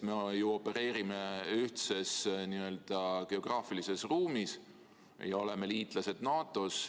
Me opereerime ju ühtses n-ö geograafilises ruumis ja oleme liitlased NATO-s.